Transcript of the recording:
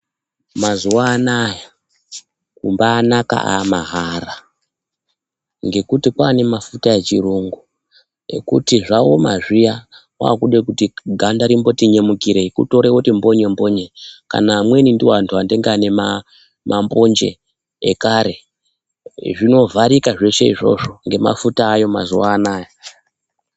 Mazuwa anaya kumbaanaka aamahara. Ngekuti kwaanemafuta echirungu ekuti zvaoma zviya, waakude kuti ganda rimboti nyemukirei, kutore woti mbonye-mbonye. Kana amweni ndiwo antu anoite inge ane mambonje ekare, zvinovharika zveshe izvozvo ngemafuta aayo mazuwa anaya.